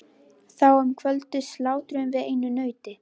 Þá um kvöldið slátruðum við einu nauti.